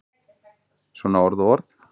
Svona orð og orð.